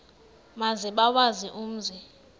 maze bawazi umzi